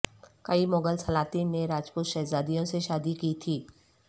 کئی مغل سلاطین نے راجپوت شہزادیوں سے شادی کی تھی